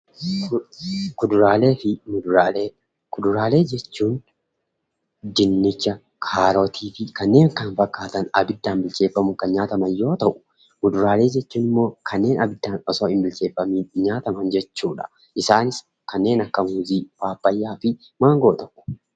Kuduraalee jechuun dinnicha, kaarotiifi kanneen kana fakkaatan abiddaan bilcheeffatamuun kan nyaataman yoo ta'u, muduraalee jechuun ammoo kanneen abiddaa osoo hinbilcheeffamiin nyaataman jechuudha. Isaanis kanneen akka muuzii, paappayyaafi maangoodha.